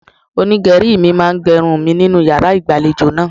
Onígẹ̀rí mi máa ge irun mi nínú yàrá ìgbàlejò náà.